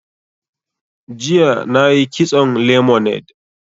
Jiya na yi kitson lemonade